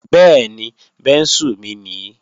Bẹ́ẹ̀ni, bẹ́ńsù mi nii